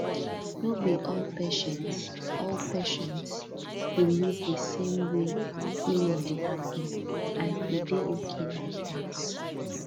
no be all patients all patients believe the same way healing dey happen and e dey okay like that